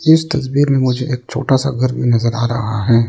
इस तस्वीर में मुझे एक छोटा सा घर भी नजर आ रहा है।